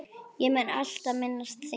Ég mun alltaf minnast þín.